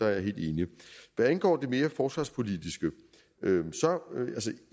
er jeg helt enig hvad angår det mere forsvarspolitiske